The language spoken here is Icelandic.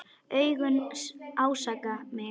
Augun ásaka mig.